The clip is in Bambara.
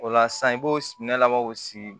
O la sisan i b'o sugunɛ labɔ